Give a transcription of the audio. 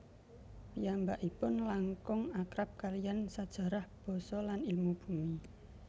Piyambakipun langkung akrab kaliyan sajarah basa lan ilmu bumi